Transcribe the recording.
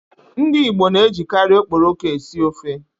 Ndi Igbo na-ejikari Okporoko esi ofe.